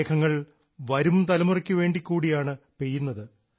മേഘങ്ങൾ വരും തലമുറയ്ക്കു വേണ്ടി കൂടിയാണ് പെയ്യുന്നത്